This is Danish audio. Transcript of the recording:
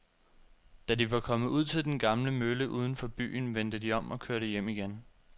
Da de var kommet ud til den gamle mølle uden for byen, vendte de om og kørte hjem igen.